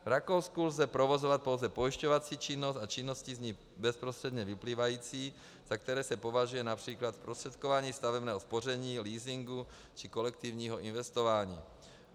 V Rakousku lze provozovat pouze pojišťovací činnost a činnosti z ní bezprostředně vyplývající, za které se považuje například zprostředkování stavebního spoření, leasingu či kolektivního investování.